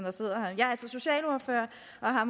har